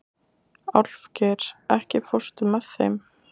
Álfgeir, ekki fórstu með þeim?